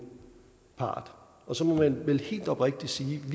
part og så må man vel helt oprigtigt sige at